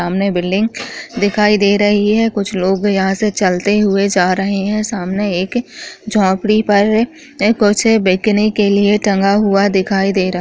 सामने बिल्डिंग दिखाई दे रही है कुछ लोग यहाँ से चलते हुए जा रहें है सामने एक झोपड़ी पर ए कुछ बिकने के लिए टंगा हुआ दिखाई दे रा --